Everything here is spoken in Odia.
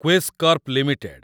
Quess corp limited